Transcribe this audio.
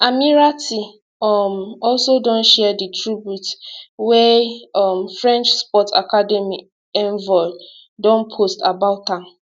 ammirati um also don share di tribute wia um french sports academy envol don post about am